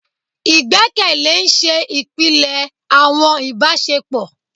Igbẹkẹle n ṣe ipilẹ awọn ibasepo